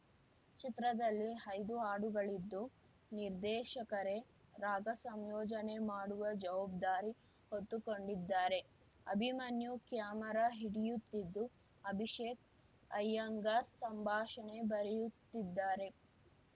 ಚಿತ್ರದಲ್ಲಿ ಐದು ಹಾಡುಗಳಿದ್ದು ನಿರ್ದೇಶಕರೇ ರಾಗ ಸಂಯೋಜನೆ ಮಾಡುವ ಜವಾಬ್ದಾರಿ ಹೊತ್ತುಕೊಂಡಿದ್ದಾರೆ ಅಭಿಮನ್ಯು ಕ್ಯಾಮೆರಾ ಹಿಡಿಯುತ್ತಿದ್ದು ಅಭಿಷೇಕ್‌ ಅಯ್ಯಂಗಾರ್‌ ಸಂಭಾಷಣೆ ಬರೆಯುತ್ತಿದ್ದಾರೆ